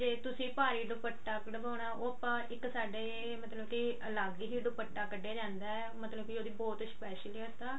ਜੇ ਤੁਸੀਂ ਭਾਰੀ ਦੁਪੱਟਾ ਕਢਵਾਨਾਂ ਉਹ ਆਪਾਂ ਇੱਕ ਸਾਡੇ ਮਤਲਬ ਕਿ ਅਲੱਗ ਹੀ ਦੁਪੱਟਾ ਕਢਿਆ ਜਾਂਦਾ ਮਤਲਬ ਕਿ ਉਹਦੀ ਬਹੁਤ ਹੀ ਗੇ ਤਾਂ